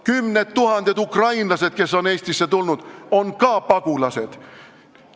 Kümned tuhanded ukrainlased, kes on Eestisse tulnud, on ka pagulased.